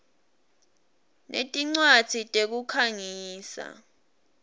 sinetincwadzi tekukhangisa